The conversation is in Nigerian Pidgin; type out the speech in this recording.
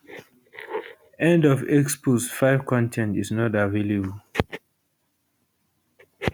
end of x post 5 con ten t is not available